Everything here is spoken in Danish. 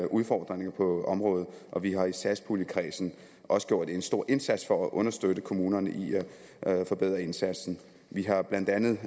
udfordringerne på området og vi har i satspuljenkredsen også gjort en stor indsats for at understøtte kommunerne i at forbedre indsatsen vi har blandt andet